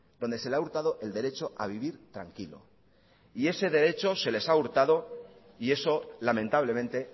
donde se le ha hurtado el derecho a vivir tranquilo y ese derecho se les ha hurtado y eso lamentablemente